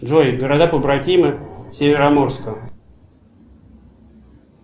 джой города побратимы североморска